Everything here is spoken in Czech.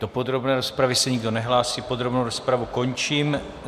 Do podrobné rozpravy se nikdo nehlásí, podrobnou rozpravu končím.